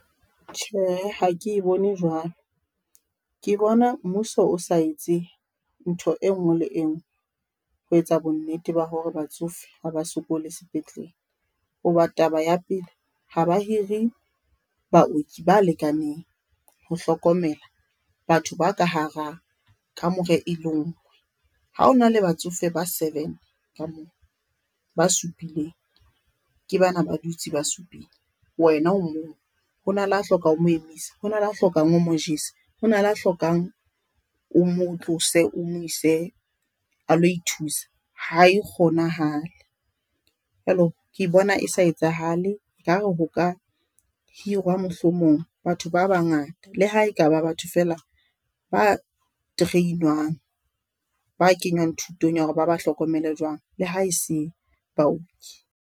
Tjhe, ha ke e bone jwalo ke bona mmuso o sa etse ntho e ngwe le engwe ho etsa bonnete ba hore ba tsofe ha ba sokole sepetlele, ho ba taba ya pele ha ba hire baoki ba lekaneng ho hlokomela batho ba ka hara kamore e le ngwe. Ha hona la batsofe ba seven ka moo, ba supileng ke bana ba dutse ba supile. Wena o mong hona le a hlokang o mo emise, hona le a hlokang o mo jese, hona le a hlokang o mo tlose o mo ise a lo ithusa ha e kgonahale. Jwale ke bona e sa etsahale ekare ho ka hirwa, mohlomong batho ba bangata le ha e kaba batho fela ba tereinwang ba kenywang thutong ya hore ba ba hlokomele jwang le ha e se baoki.